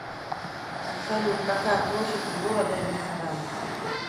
салют какая площадь у города верзеган